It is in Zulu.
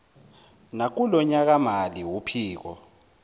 nakulo nyakamali uphiko